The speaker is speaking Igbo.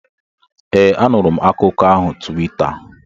ee, anụrụ m akụkọ ahụ Tuweeta